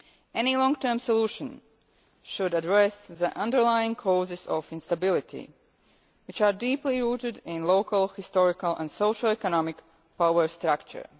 Any long term solution should address the underlying causes of instability, which are deeply rooted in local historical and socio economic power structure.